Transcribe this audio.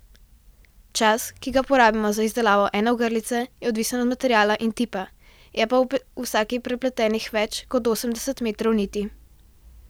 Čas, ki ga porabi za izdelavo ene ogrlice, je odvisen od materiala in tipa, je pa v vsaki prepletenih več kot osemdeset metrov niti.